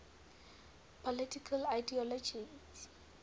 political ideologies